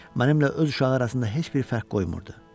Mənimlə öz uşağı arasında heç bir fərq qoymurdu.